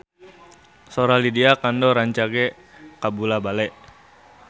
Sora Lydia Kandou rancage kabula-bale